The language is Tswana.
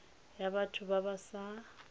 ya batho ba ba sa